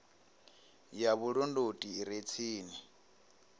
ya vhulondoti i re tsini